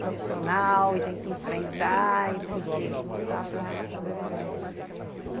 profissional e tem que enfrentar e tem que lutar para sobrevivência, né.